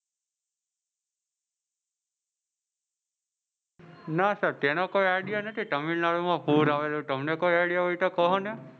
ના સાહેબ તેનો કોઈ આઈડિયા નથી તામિલનાડુ માં પૂર આવેલું ને તમને કોઈ આઈડિયા હોય તો કહો ને.